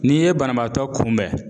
N'i ye banabaatɔ kunbɛn